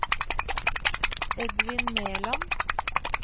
Edvin Meland